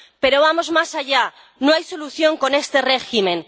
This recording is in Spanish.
Pero, vamos más allá no hay solución con este régimen.